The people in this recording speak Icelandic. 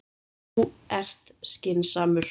Þú ert skynsamur.